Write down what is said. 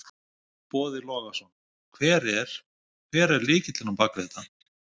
Boði Logason: Hver er, hver er lykillinn á bakvið þetta?